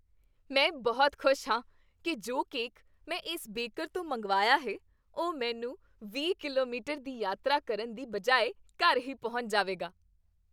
ਮੈਂ ਬਹੁਤ ਖੁਸ਼ ਹਾਂ ਕਿ ਜੋ ਕੇਕ ਮੈਂ ਇਸ ਬੇਕਰ ਤੋਂ ਮੰਗਵਾਇਆ ਹੈ, ਉਹ ਮੈਨੂੰ ਵੀਹ ਕਿਲੋਮੀਟਰ ਦੀ ਯਾਤਰਾ ਕਰਨ ਦੀ ਬਜਾਏ ਘਰ ਹੀ ਪਹੁੰਚ ਜਾਵੇਗਾ।